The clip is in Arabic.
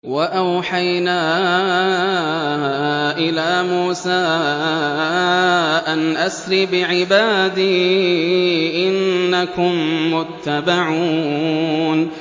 ۞ وَأَوْحَيْنَا إِلَىٰ مُوسَىٰ أَنْ أَسْرِ بِعِبَادِي إِنَّكُم مُّتَّبَعُونَ